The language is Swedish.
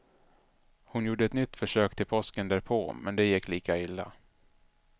Hon gjorde ett nytt försök till påsken därpå men det gick lika illa.